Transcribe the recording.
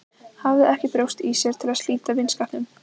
Hafði ekki brjóst í sér til að slíta vinskapnum.